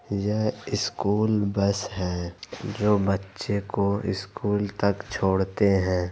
यह school bus है। जो बच्चे को इस्कूल तक छोड़ते हैं।